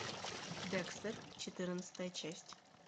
декстер четырнадцатая часть